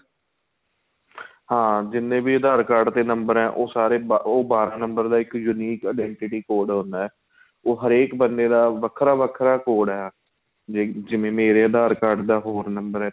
ਹਾਂ ਜਿੰਨੇ ਵੀ aadhar card ਤੇ number ਏ ਉਹ ਸਾਰੇ ਉਹ ਬਾਰਾਂ number ਦਾ ਇੱਕ unique identity code ਹੁੰਦਾ ਏ ਉਹ ਹਰੇਕ ਬੰਦੇ ਦਾ ਵੱਖਰਾ ਵੱਖਰਾ code ਏ ਜਿਵੇਂ ਮੇਰੇ aadhar card ਦਾ ਹੋਰ number ਏ